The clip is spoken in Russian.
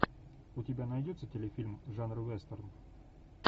у тебя найдется телефильм жанра вестерн